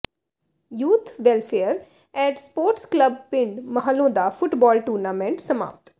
youth welfare and sports club ਪਿੰਡ ਮਹਾਲੋਂ ਦਾ football tournament ਸਮਾਪਤ